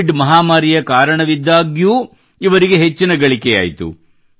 Covid ಮಹಾಮಾರಿಯ ಕಾರಣವಿದ್ದಾಗ್ಯೂ ಇವರಿಗೆ ಹೆಚ್ಚಿನ ಗಳಿಕೆ ಆಯಿತು